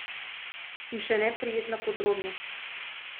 In še neprijetna podrobnost.